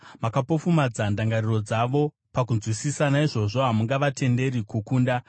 Makapofumadza ndangariro dzavo pakunzwisisa; naizvozvo hamungavatenderi kukunda.